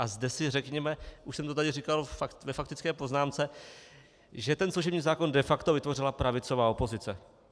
A zde si řekněme, už jsem to tady říkal ve faktické poznámce, že ten služební zákon de facto vytvořila pravicová opozice.